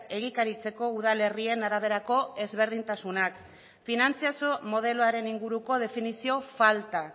egikaritzeko udalerrien araberako ezberdintasunak finantzazio modeloaren inguruko definizio falta